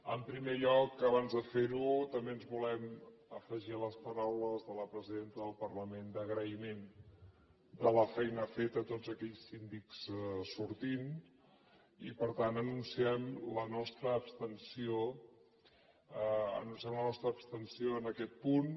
en primer lloc abans de ferho també ens volem afegir a les paraules de la presidenta del parlament d’agraïment de la feina feta a tots aquells síndics sortints i per tant anunciem la nostra abstenció en aquest punt